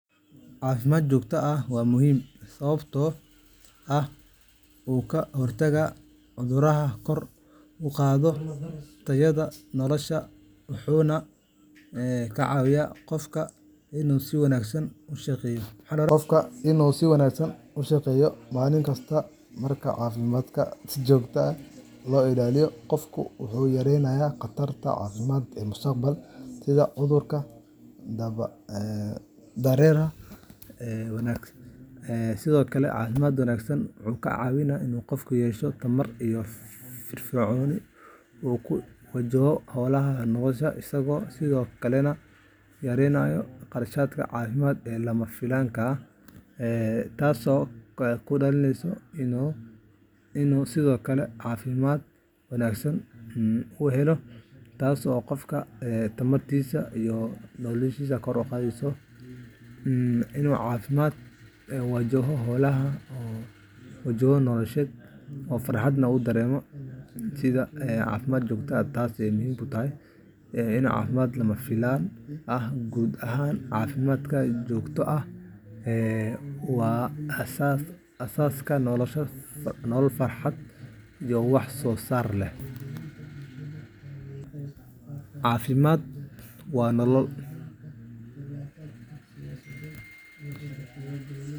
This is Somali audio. Caafimaad joogto ah waa muhiim sababtoo ah wuxuu ka hortagaa cudurrada, kor u qaadaa tayada nolosha, wuxuuna ka caawiyaa qofka inuu si wanaagsan u shaqeeyo maalin kasta. Marka caafimaadka si joogto ah loo ilaaliyo, qofku wuxuu yareeyaa khataraha caafimaad ee mustaqbalka, sida cudurrada daba dheeraada iyo dhaawacyada. Sidoo kale, caafimaad wanaagsan wuxuu ka caawiyaa in qofku yeesho tamar iyo firfircooni uu ku wajaho hawlaha nolosha, isagoo sidoo kalena yareynaya kharashaadka caafimaad ee lama filaan ah. Guud ahaan, caafimaad joogto ah waa aasaaska nolol farxad iyo wax soo saar leh cifimaad waa nolol.